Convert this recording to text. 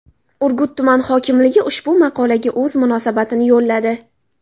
Urgut tuman hokimligi ushbu maqolaga o‘z munosabatini yo‘lladi.